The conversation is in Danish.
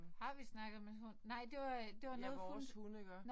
Har vi snakket om en hund? Nej det var det var noget hun